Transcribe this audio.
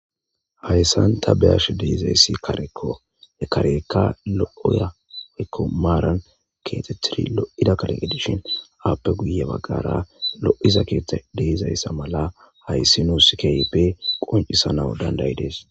hayssan ta beyash deizayssi kareko ekareeka lo7oyaomaaran keete tiri lo7ida kareq edishin aappe guye baggara lo7iza keethta deizayssa mala hayssi nuuskeype qoncisanau dandayidees